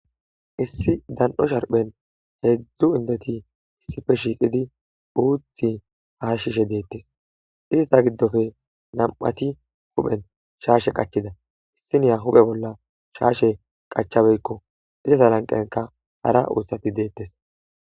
issi dan7o sharphen heedzdzu indeti issife shiiqidi uuthi hashishe deettes isata giddofe nam7ati huphen shaashe qachida issiniya huphe bolla shaashe qachabeykko izata lanqenka hara uuthsati deettes